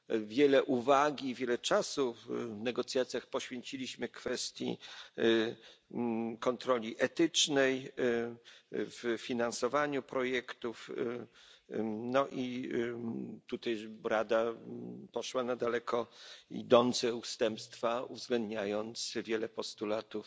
Wiele uwagi i czasu w negocjacjach poświęciliśmy kwestii kontroli etycznej w finansowaniu projektów, no i tutaj Rada poszła na daleko idące ustępstwa, uwzględniając wiele postulatów